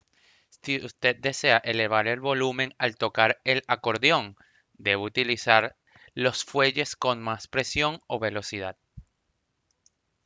si usted desea elevar el volumen al tocar el acordeón debe utilizar los fuelles con más presión o velocidad